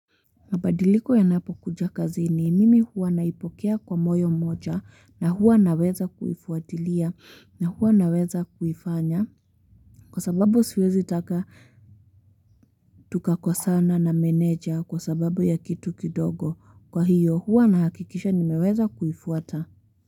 Mabadiliko yanapo kuja kazini mimi huwa naipokea kwa moyo mmoja na huwa naweza kuifuatilia na huwa naweza kuifanya kwa sababu siwezi taka tukakosana na meneja kwa sababu ya kitu kidogo. Kwa hiyo, huwa nahakikisha nimeweza kuifuata.